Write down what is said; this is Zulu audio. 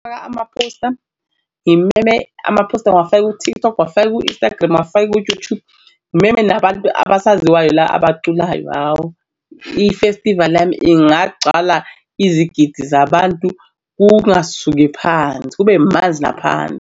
Faka amaphosta ngimeme amaphosta ngiwafake ku-TikTok uwafake u-Instagram uwafake ku-YouTube, ngimeme nabantu abaziwayo la abaculayo. Hawu ifestivali yami ingagcwala izigidi zabantu kungasuki phansi, kube manzi naphansi.